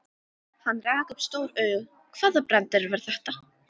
Hann rak upp stór augu, hvaða brandari var þetta?